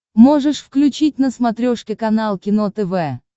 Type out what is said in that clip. можешь включить на смотрешке канал кино тв